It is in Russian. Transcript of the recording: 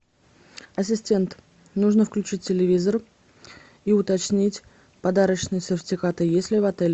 ассистент нужно включить телевизор и уточнить подарочные сертификаты есть ли в отеле